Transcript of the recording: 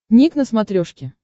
ник на смотрешке